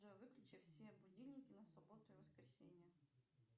джой выключи все будильники на субботу и воскресенье